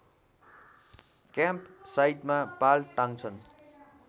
क्याम्पसाइटमा पाल टाँग्छन्